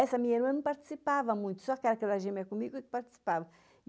Essa minha irmã não participava muito, só aquela que era gêmea comigo que participava.